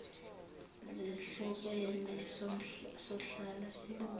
zehlukene sohlala sibona